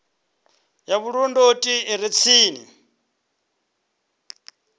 ya vhulondoti i re tsini